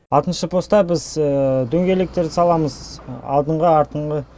алтыншы поста біз дөңгелектерді саламыз алдыңғы артыңғы